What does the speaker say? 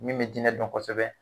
Min bɛ diinɛ dɔn kosɛbɛ